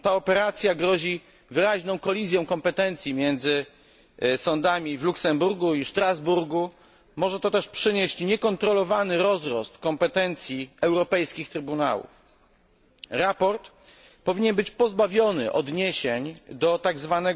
Ta operacja grozi wyraźną kolizją kompetencji między sądami w Luksemburgu i Strasburgu, może to też przynieść niekontrolowany rozrost kompetencji europejskich trybunałów. Sprawozdanie powinno być pozbawione odniesień do tzw.